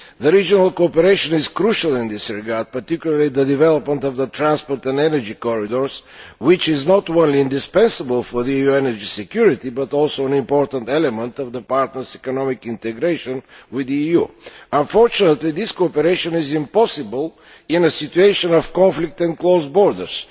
Regional cooperation is crucial in this regard, particularly the development of the transport and energy corridors, which is not only indispensable for EU security but also an important element of the partners' economic integration with the EU. Unfortunately this cooperation is impossible in a situation of conflict and closed borders.